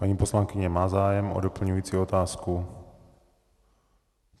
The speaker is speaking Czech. Paní poslankyně má zájem o doplňující otázku.